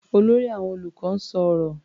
Olórí àwọn olùkọ́ ń sọ ọ̀rọ̀.